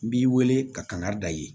N b'i wele ka kangari da yen